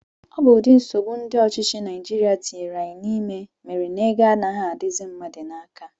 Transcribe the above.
Ọ bụ ụdị nsogbu ndị ọchịchị Naijiria tinyere anyị n'ime mere na ego anaghị adịzi mmadụ n'aka